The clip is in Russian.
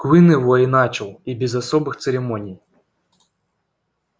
куинн его и начал и без особых церемоний